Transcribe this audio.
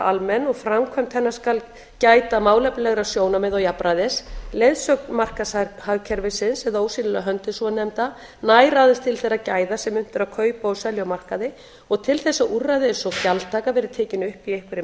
almenn og við framkvæmd hennar skal gæta málefnalegra sjónarmiða og jafnræðis leiðsögn markaðshagkerfisins eða ósýnilega höndin svonefnda nær aðeins til þeirra gæða sem unnt er að kaupa og selja á markaði og til þess að úrræði eins og gjaldtaka verði tekin upp í einhverri